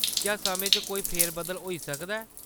क्या समें च कोई फेर-बदल होई सकदा ऐ ?